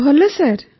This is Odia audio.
ଭଲ ସାର୍